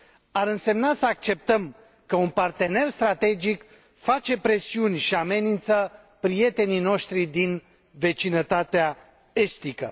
Ar însemna să acceptăm că un partener strategic face presiuni și îi amenință pe prietenii noștri din vecinătatea estică.